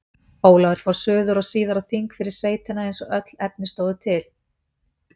Ólafur fór suður og síðar á þing fyrir sveitina eins og öll efni stóðu til.